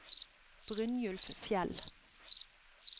Brynjulf Fjell